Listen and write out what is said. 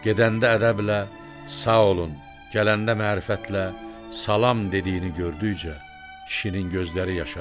gedəndə ədəblə "Sağ olun", gələndə mərifətlə "Salam" dediyini gördükcə kişinin gözləri yaşarırdı.